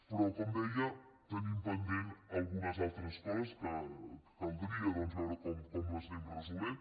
però com deia tenim pendent algunes altres coses que caldria doncs veure com les anem resolent